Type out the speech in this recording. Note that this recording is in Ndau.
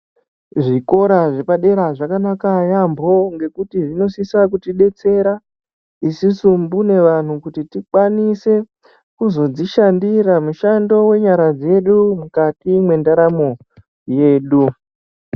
Zvikora zvepadera zvakanaka yaambo ngekuti zvinosvitsa kuti detsera isusu mbune vanhu kuti vantu tikwanise kuzodzishandira mushando wenyara dzedu mukati mwendaramo yedu.